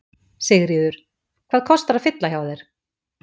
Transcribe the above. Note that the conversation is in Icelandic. Sigríður: Hvað kostar að fylla hjá þér?